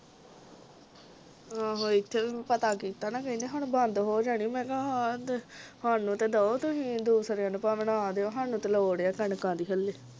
ਆਹੋ ਇਥੇ ਵੀ ਪਤਾ ਕੀਤਾ ਨਾ ਕਹਿੰਦੇ ਹੁਣ ਬੰਦ ਹੋ ਜਾਣੀ ਮੈਂ ਕਿਹਾ ਹਾਂ ਅਹ ਦ ਸਾਨੂੰ ਤੇ ਦਓ ਤੁਸੀਂ ਦੂਸਰਿਆਂ ਨੂੰ ਦੂਸਰਿਆਂ ਨੂੰ ਭਾਵੇਂ ਨਾ ਦਵੋ ਸਾਨੂੰ ਤੇ ਲੋੜ ਹੈ ਕਣਕਾਂ ਦੀ ਹਾਲੇ